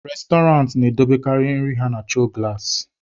Restọrantị na-edobekarị nri ha na choo gụlasị.